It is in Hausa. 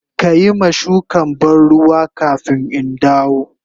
Ka yi ma shukan ban ruwa kafin in dawo.